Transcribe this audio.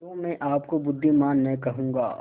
तो मैं आपको बुद्विमान न कहूँगा